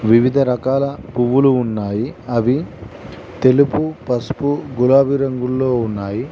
వివిధ రకాల పువ్వులు ఉన్నాయి అవి తెలుపు పసుపు గులాబీ రంగుల్లో ఉన్నాయి.